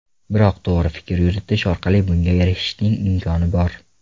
Biroq to‘g‘ri fikr yuritish orqali bunga erishishning imkoni bor.